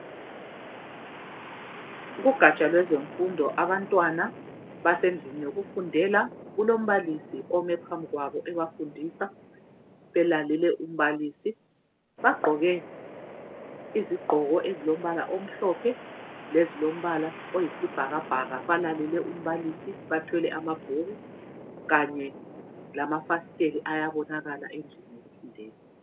Kugatsha lwezemfundo abantwana basendlini yokufundela kulombalisi ome phambili kwabo ebafundisa belalele umbalisi. Bagqoke izigqoko ezilombala omhlophe lezilombala oyibhakabhaka balalele umbalisi bathwele amabhuku kanye lamafasitela ayabonakala endlini yokufundela.